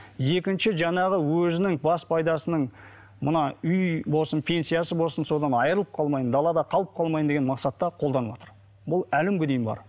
екніщі жаңағы өзінің бас пайдасының мына үй болсын пенсиясы болсын содан айырылып қалмайын далада қалып қалмайын деген мақсатта қолданыватыр бұл әлі күнге дейін бар